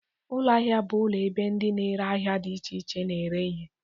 Ụlọ ahịa bụ ụlọ ebe ndị na-ere ahịa dị iche iche na-ere ihe.